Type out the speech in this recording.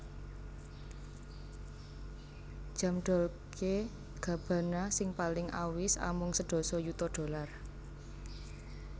Jam Dolce Gabbana sing paling awis amung sedasa yuta dollar